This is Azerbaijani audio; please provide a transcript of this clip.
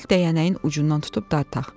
Gəl dəyənəyin ucundan tutub dartdaq.